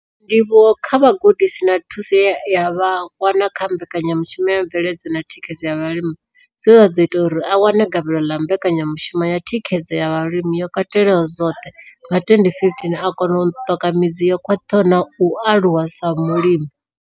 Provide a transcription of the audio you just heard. Ndivhuwo kha vhugudisi na thuso ye a i wana kha Mbekanya mushumo ya Mveledziso na Thikhedzo ya Vhalimi zwe zwa ḓo ita uri a wane gavhelo ḽa Mbekanya mushumo ya Thikhedzo ya zwa Vhulimi yo Katelaho zwoṱhe nga 2015, o kona u ṱoka midzi yo khwaṱhaho na u aluwa sa mulimi.